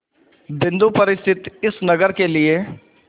बिंदु पर स्थित इस नगर के लिए